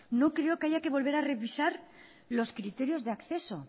no creo que haya que volver a revisar los criterios de acceso